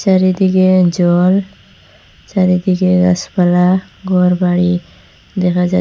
চারিদিকে জল চারিদিকে গাসপালা ঘরবাড়ি দেখা যা--